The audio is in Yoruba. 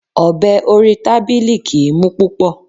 Ọ̀bẹ orí tábìlì kìí mú púpọ̀.